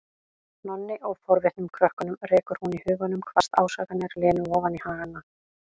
Nonna og forvitnum krökkunum, rekur hún í huganum hvasst ásakanir Lenu ofan í hana.